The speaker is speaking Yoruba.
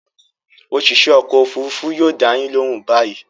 Òṣìṣẹ́ ọkọ̀-òfurufú yóò dá yín lóhùn báyìí.